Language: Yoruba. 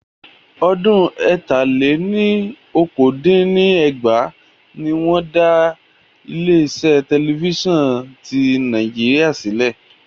Ọdún ẹ̀ta-lé-ní-okòó dín ní ẹgbàá ní wọn dá Aláṣẹ Tẹlifíṣàn tí Nàìjíríà (NTA) sílẹ̀